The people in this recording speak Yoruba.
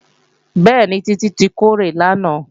Bẹ́ẹ̀ni, Títí tí kórè lánàá